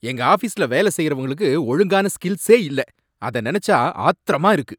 எங்க ஆபீஸ்ல வேலை செய்றவங்களுக்கு ஒழுங்கான ஸ்கில்ஸே இல்ல, அத நனைச்சா ஆத்திரமா இருக்கு.